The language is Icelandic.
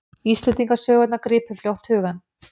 Íslendingasögurnar gripu fljótt hugann.